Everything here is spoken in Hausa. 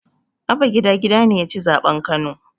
Abba gida gida ne yaci zaɓen kano